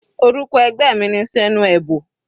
Orúkọ ẹgbẹ́ mi ni Senuebo.